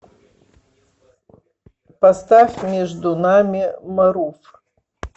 поставь между нами марув